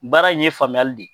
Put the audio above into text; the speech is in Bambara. Baara in ye faamuyali de ye